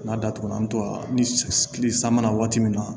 N'a datugulan an tora ni kile san mana waati min na